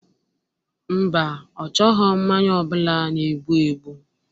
Mba, ọ chọghọ mmanya ọbụla na-egbu egbu